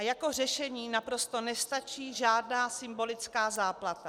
A jako řešení naprosto nestačí žádná symbolická záplata.